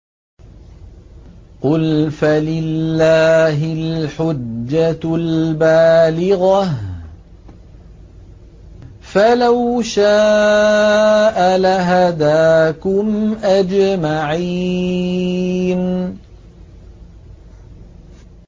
قُلْ فَلِلَّهِ الْحُجَّةُ الْبَالِغَةُ ۖ فَلَوْ شَاءَ لَهَدَاكُمْ أَجْمَعِينَ